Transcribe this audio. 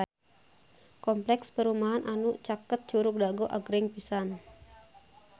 Kompleks perumahan anu caket Curug Dago agreng pisan